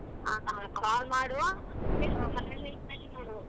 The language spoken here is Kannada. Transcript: ಹ call ಮಾಡು .